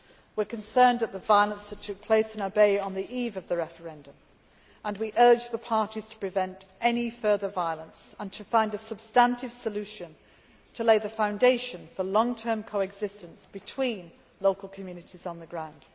We are concerned at the violence that occurred in Abyei on the eve of the referendum and we urge the parties to prevent any further violence and to find a substantive solution to lay the foundation for long term co existence between local communities on the ground.